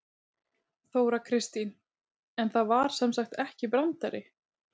Þóra Kristín: En það var sem sagt ekki brandari?